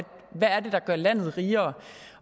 der gør landet rigere